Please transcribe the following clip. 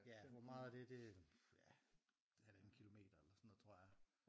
Ja hvor meget er det det øh ja det er halvanden kilometer eller sådan noget tror jeg